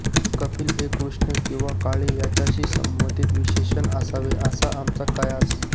कपिल हे कृष्ण किंवा काळे याच्याशी संबंधित विशेषण असावे असा आमचा कयास